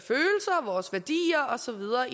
så videre